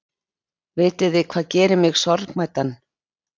Vitiði hvað gerir mig sorgmæddan?